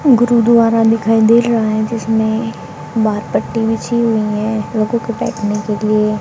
गुरुद्वारा दिखाई दे रहा है जिसमें बाहर पट्टी बिछी हुई है लोगों को बैठने के लिए।